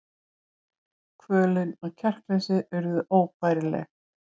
Kvölin og kjarkleysið urðu óbærileg.